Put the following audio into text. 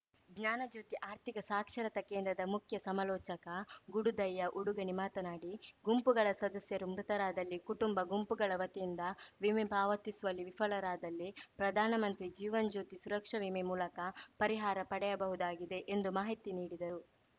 ಜ್ಞಾನ ಜ್ಯೋತಿ ಆರ್ಥಿಕ ಸಾಕ್ಷರತಾ ಕೇಂದ್ರದ ಮುಖ್ಯ ಸಮಾಲೋಚಕ ಗುಡುದಯ್ಯ ಉಡುಗಣಿ ಮಾತನಾಡಿ ಗುಂಪುಗಳ ಸದಸ್ಯರು ಮೃತರಾದಲ್ಲಿ ಕುಟುಂಬ ಗುಂಪುಗಳ ವತಿಯಿಂದ ವಿಮೆ ಪಾವತಿಸುವಲ್ಲಿ ವಿಫಲರಾದಲ್ಲಿ ಪ್ರಧಾನಮಂತ್ರಿ ಜೀವನ್‌ ಜ್ಯೋತಿ ಸುರಕ್ಷಾ ವಿಮೆ ಮೂಲಕ ಪರಿಹಾರ ಪಡೆಯಬಹುದಾಗಿದೆ ಎಂದು ಮಾಹಿತಿ ನೀಡಿದರು